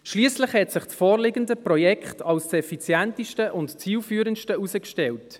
Schliesslich hat sich das vorliegende Projekt als das effizienteste und zielführendste herausgestellt.